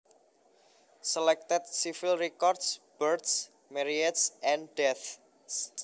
Selected Civil Records Births Marriages and Deaths